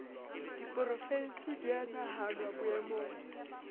diporofensi di a nahanwa boemong